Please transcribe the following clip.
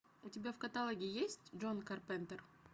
у тебя в каталоге есть джон карпентер